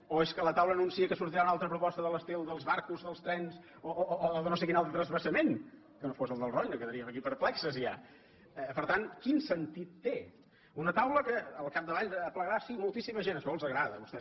o és que la taula anuncia que sortirà una altra proposta de l’estil dels barcos dels trens o de no sé quin altre transvasament que no fos el del roine quedaríem aquí perplexos ja per tant quin sentit té una taula que al capdavall aplegarà sí moltíssima gent això els agrada a vostès